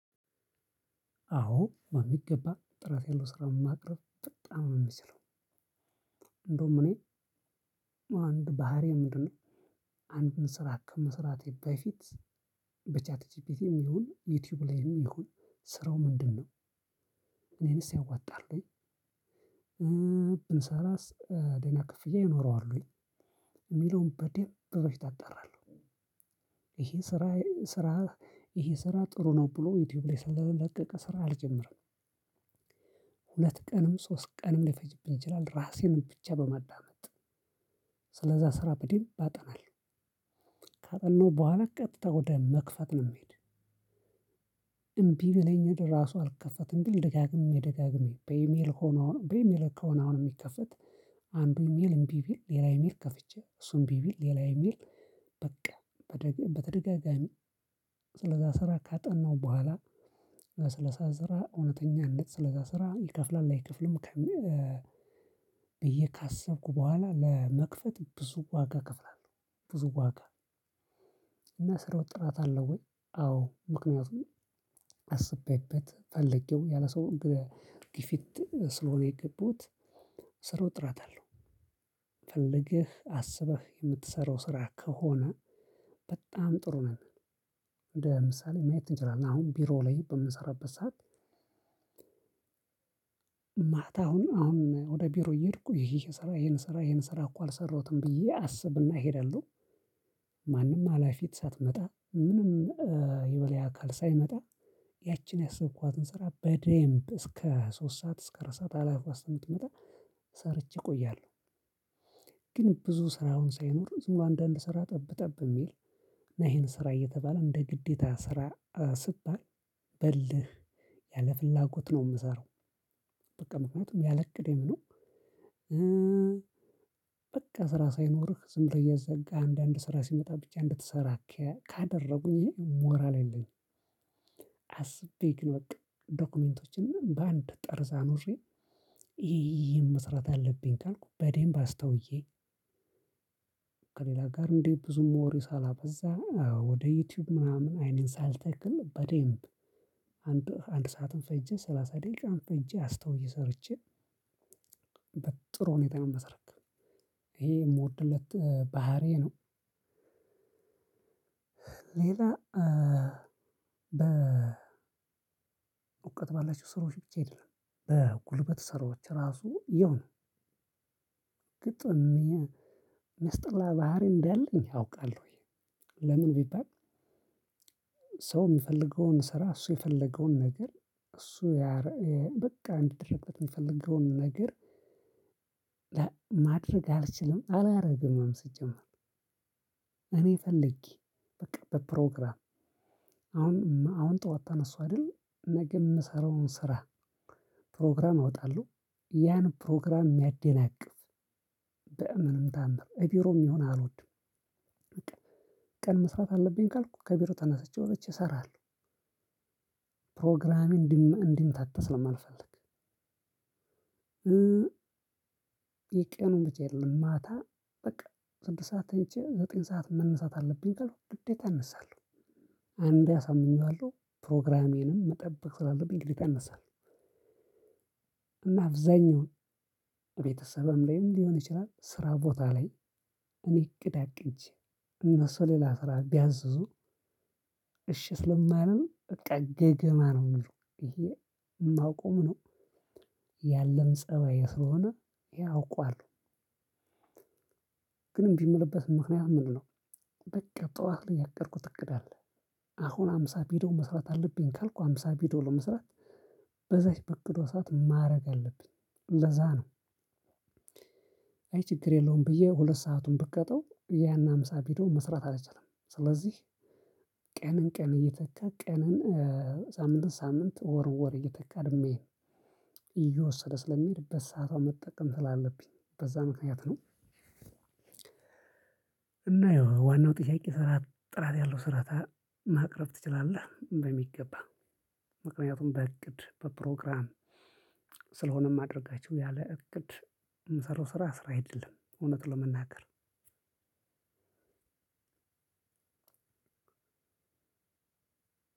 አዎ በሚገባ ጥራት ያለው ስራ ማቅረብ በጣም ነው እምችለው። እንደውም እኔ አንድ ባህሪዬ ምንድነው? አንድን ስራ ከመስራቴ በፊት። በቻት ጂፒቲም ይሁን ዩቲዩብ ላይም ይሁን ስራው ምንድነው? እኔንስ ያዋጣል ወይ? ብሰራስ ደህና ክፍያ ይኖረዋል ወይ? የሚለውን በደንብ በፊት አጣራለሁ። ይሄ ስራ ስራ ይሄ ስራ ጥሩ ነው ብሎ ዩቲዩብ ላይ ስለለቀቀ ስራ አልጀምርም። ሁለት ቀንም ሶስት ቀንም ሊፈጅብኝ ይችላል። ራሴን ብቻ በማዳመጥ ስለዛ ስራ በደንብ አጠናለሁ። ካጠናሁ በኋላ ቀጥታ ወደመክፈት ነው የምሄድ። እምቢ ቢለኝ ራሱ አልከፈትም ቢል ደጋግሜ ደጋግሜ በኢሜል ሆኖ በኢሜል ከሆነ አሁን የሚከፈት አንዱ ኢሜል እምቢ ቢል ሌላ ኢሜል ከፍቼ እሱ እምቢ ቢል ሌላ ኢሜል። በቃ በተደጋጋሚ ስለዛ ስራ ካጠናሁ በኋላ ስለዛ ስራ እውነተኛነት ስለዛ ስራ ይከፍላል አይከፍልም። ብዬ ካሰብኩ በኋላ ለመክፈት ብዙ ዋጋ እከፍላለሁ። ብዙ ዋጋ እና ስራው ጥራት አለው ወይ? አዎ ምክንያቱም አስቤበት ፈለጌው ያለ ሰው ግፊት ስለሆነ የገባሁት። ስራው ጥራት አለው። ፈልገህ አስበህ የምትሰራው ስራ ከሆነ በጣም ጥሩ ነው። እንደ ምሳሌ ማየት እንችላለን አሁን ቢሮ ላይ በምንሰራበት ሰዓት ማታ አሁን አሁን ወደ ቢሮ እየሄድኩ ይሄን ስራ ይሄን ስራ ይሄን ስራ እኮ አልሰራሁትም ብዬ አስብና እሄዳለሁ። ማንም ኣላፊት ሳትመጣ ምንም የበላይ አካል ሳይመጣ ያችን ያሰብኳትን ስራ በደንብ እስከ ሶስት ሰዓት እስከ አራት ሰዓት አላፊዋ እስከምትመጣ ሰርቼ እቆያለሁ። ግን ብዙ ስራ አሁን ሳይኖር ዝምብሎ አንዳንድ ስራ ጠብ ጠብ የሚል ና ይሄን ስራ እየተባለ እንደ ግዴታ ስራ ስባል በልህ ያለ ፍላጎት ነው የምሰራው። በቃ ምክንያቱም ያለቅዴም ነው። በቃ ስራ ሳይኖርህ ዝም ብለህ እያዛጋህ አንዳንድ ስራ ሲመጣ ብቻ እንድትሰራ ካደረጉኝ እኔ ሞራል የለኝም። አስቤ ግን በቃ ዶክሜንቶችን በአንድ ጠርዝ አኑሬ ይሄ ይሄን መስራት አለብኝ ካልኩ በዴምብ አስተውዬ። ከሌላ ጋር እንዴ ብዙም ወሬ ሳላበዛ ወደ ዩቲዩብ ምናምን አይኔን ሳልተክል በደንብ። አንድ አንድ ሰዓትም ፈጀ ሰላሳ ደቂቃም ፈጄ አስተውዬ ሰርቼ። ጥሩ ሁኔታ ነው የማስረክብ ይሄ የምወድለት ባህሪዬ ነው። ሌላ በእውቀት ባላቸው ስራዎች ብቻ አይደለም በጉልበት ስራዎች ራሱ ያው ነው። ግጥም የሚያስጠላ ባህሪ እንዳለኝ አውቃለሁ ወይ? ለምን ቢባል። ሰው የሚፈልገውን ስራ እሱ የፈለገውን ነገር እሱ ያ በቃ እንዲደረግለት የሚፈልገውን ነገር። ማድረግ አልችልም አላደርግምም ሲጀምር። እኔ ፈልጌ በቃ በፕሮግራም አሁን አሁን ጠዋት ተነሳሁ አይደል ነገ የምሰራውን ስራ ፕሮግራም አወጣለሁ ያን ፕሮግራም የሚያደናቅፍ በምንም ነአምር እቢሮም ይሁን አልወድም። ቀን መስራት አለብኝ ካልኩ ከቢሮ ተነስቼ ወጥቼ እሰራለሁ። ፕሮግራሜ እንዲምታታ ስለማልፈልግ የቀኑን ብቻ አይደለም ማታ በቃ ስድስት ሰዓት ተኝቼ ዘጠኝ ሰዓት መነሳት አለብኝ ካልኩ ግዴታ እነሳለሁ። አንዴ አሳምኜዋለሁ ፕሮግራሜንም መጠበቅ ስላለብኝ ግዴታ እነሳለሁ እና አብዛኛውን ቤተሰብም ላይም ሊሆን ይችላል ስራ ቦታ ላይ እኔ እቅድ አቅጄ እነሱ ሌላ ስራ ቢያዝዙ። እሺ ስለማልል በቃ ገገማ ነው የሚሉ ይሄ የማውቀውም ነው ያለም ፀባይ ስለሆነ ይሄ አውቀዋለሁ። ግን እንቢ የምልበት ምክንያት ምንድነው? በቃ ጠዋት ላይ ያቀድኩት እቅድ አለ። አሁን አምሳ ቪድዮ መስራት አለብኝ ካልኩ አምሳ ቪድዮ ለመስራት በዛች በቅዷ ሰዓት ማድረግ አለብኝ ለዛ ነው። አይ ችግር የለውም ብዬ ሁለት ሰአቱን ብቀጣው ያን አምሳ ቪድዮ መስራት አልችልም ስለዚህ። ቀንን ቀን እየተካ ቀንን ሳምንትን ሳምንት ወር ወር እየተካ ነው የሚሄድ። እየወሰደ ስለሚሄድ በሰአቷ መጠቀም ስላለብኝ በዛ ምክንያት ነው። እና ያው ዋናው ጥያቄ ጥራት ያለው ስራ ማቅረብ ትወዳለህ በሚገባ? ምክንያቱም በእቅድ በፕሮግራም ስለሆነ እማደርጋቸው ያለ እቅድ የምሰራው ስራ ስራ አይደለም እውነት ለመናገር።